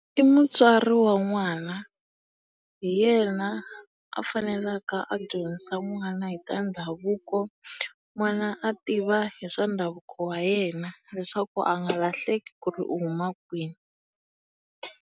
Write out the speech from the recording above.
I mutswari wa n'wani. Hi yena a faneleke a dyondzisa n'wana hi ta ndhavuko, n'wana a tiva hi swa ndhavuko wa yena leswaku a nga lahleki ku ri u huma kwihi.